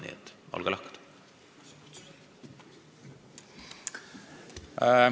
Nii et olge lahked!